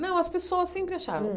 Não, as pessoas sempre acharam.